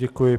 Děkuji.